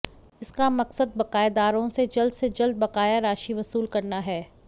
इसका मकसद बकायादारों से जल्द से जल्द बकाया राशि वसूल करना है